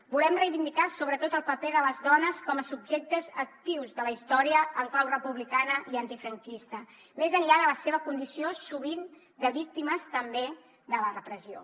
volem reivindicar sobretot el paper de les dones com a subjectes actius de la història en clau republicana i antifranquista més enllà de la seva condició sovint de víctimes també de la repressió